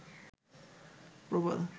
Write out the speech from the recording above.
প্রবাল